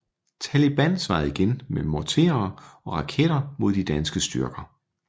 Taliban svarede igen med morterer og raketter mod de danske styrker